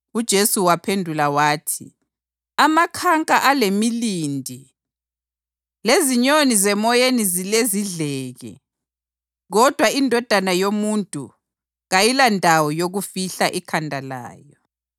UJesu waphendula wathi, “Amakhanka alemilindi lezinyoni zemoyeni zilezidleke, kodwa iNdodana yoMuntu kayilandawo yokufihla ikhanda layo.”